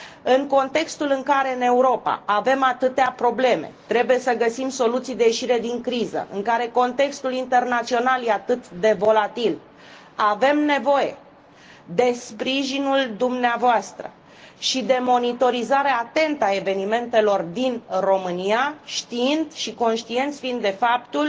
În contextul în care în Europa avem atâtea probleme, trebuie să găsim soluții de ieșire din criză, în care contextul internațional este atât de volatil, avem nevoie de sprijinul dumneavoastră și de monitorizarea atentă a evenimentelor din România, știind și conștienți fiind de faptul